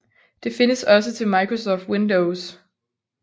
Det findes også til Microsoft Windows